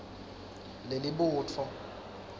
lelibutfo